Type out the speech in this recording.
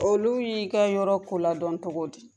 Olu y'i ka yɔrɔ ko ladɔn cogo di?